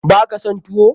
Baka son tuwo?